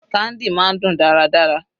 Candy máa ń dùn dáradára.